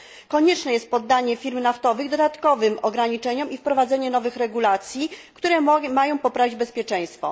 Konieczne jest poddanie firm naftowych dodatkowym ograniczeniom i wprowadzenie nowych regulacji, które mogą poprawić bezpieczeństwo.